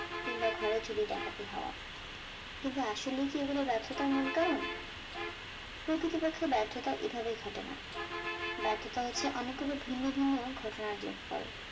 কিম্বা ঘরে চুরি ডাকাতি হওয়া, কিন্তু আসলে কি এগুলো ব্যর্থতার মূল কারণ? প্রকৃতপ্ক্ষে ব্যর্থতা এভাবে ঘটে না, ব্যর্থতা হচ্ছে অনেকগুলো ভিন্ন ভিন্ন ঘটনার যোগফল